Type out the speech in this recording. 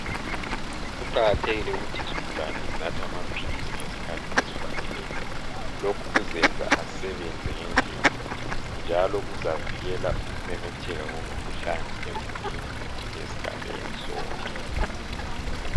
Kuqakathekile ukuthi izigulane zinathe amaphilisi ngesikhathi esifaneleyo. Lokhu kuzenza asebenze ngendlela njalo kuzavikela ukumemetheka komkhuhlane emulini lesigabeni sonke.